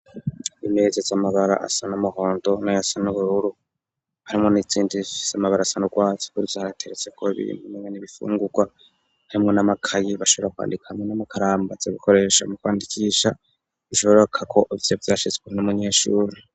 Imeza z'amabara asa n'umuhondo nayasa nubururu harimwo n'izindi zifize amabara asa rwatsi kumeza hakaba hateretseko ibintu umengo n'ibifungurwa harimwo n'amakaye bashobora kwandika harimwo n'amakaramu bashobora gukoresha mu kwandikisha bishobokako ivyo vyahashizwe n'umunyeshure.